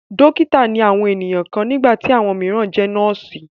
Dọ́kítá ni àwọn ènìyàn kan nígbà tí àwọn mìíràn jẹ nọ́ọ́sì.